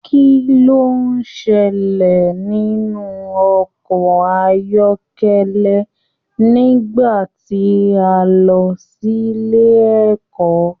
Kín ló ṣẹlẹ nínú ọkọ ayọkẹlẹ nígbà tí a n lọ sílé ẹ̀kọ́?